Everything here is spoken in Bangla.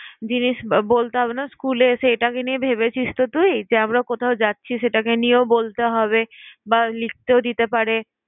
জিনিস বলতে হবে না school এ এসে, এটাকে নিয়ে ভেবেছিসতো তুই? যে আমরা কোথাও যাচ্ছি সেটাকে নিয়েও বলতে হবে বা লিখতেও দিতে পারে